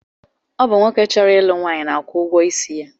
Ọ bụ nwoke chọrọ ịlụ nwaanyị na-akwụ ụgwọisi ya